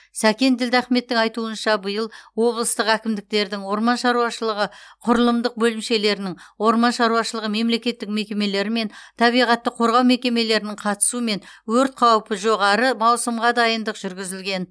сәкен ділдахметтің айтуынша биыл облыстық әкімдіктердің орман шаруашылығы құрылымдық бөлімшелерінің орман шаруашылығы мемлекеттік мекемелері мен табиғатты қорғау мекемелерінің қатысуымен өрт қаупі жоғары маусымға дайындық жүргізілген